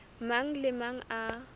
mang le a mang a